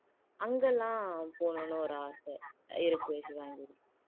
அங்கெல்லாம் போகணும்ன்னு ஒரு ஆசை இருக்கு ஷிவாங்கி